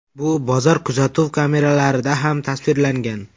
Bu bozor kuzatuv kameralarida ham tasvirlangan.